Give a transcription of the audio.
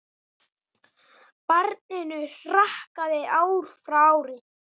Barninu hrakaði ár frá ári.